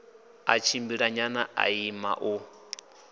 ḽa tshimbilanyana ḽa ima u